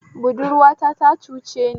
Budurwata ta cuceni